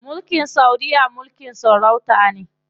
Mulkin saudiya mulkin sarauta ne.